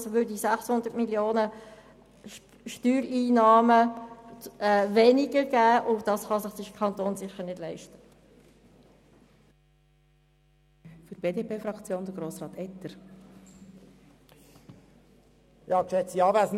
Die Folge wären Einbussen bei den Steuereinnahmen in der Höhe von 600 Mio. Franken, was sich der Kanton schlicht nicht leisten kann.